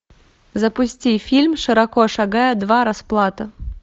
запусти фильм широко шагая два расплата